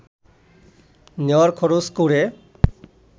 নেয়ার খরচ করে